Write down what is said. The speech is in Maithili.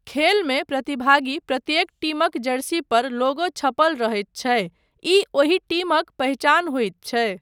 खेलमे प्रतिभागी प्रत्येक टीमक जर्सी पर लोगो छपल रहैत छै, ई ओहि टीमक पहिचान होइत छै।